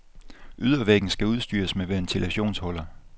Ydervæggen skal udstyres med ventilationshuller.